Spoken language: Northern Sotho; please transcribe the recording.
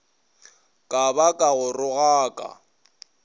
ka ba ka go rogaka